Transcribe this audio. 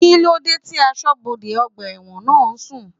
Kíló dé tí asọ́bodè ọgbà ẹ̀wọ̀n náà ń sùn?